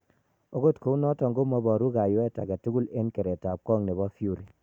Agot kounoton komoboru kayweet agetugul en keretab kong nebo Fury.